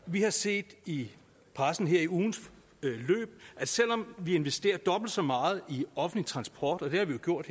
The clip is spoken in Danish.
vi har set i pressen her i ugens løb at selv om vi investerer dobbelt så meget i offentlig transport og det har vi jo gjort